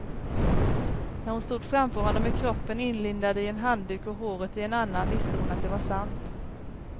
När hon stod framför honom med kroppen inlindad i en handduk och håret i en annan visste hon att det var sant.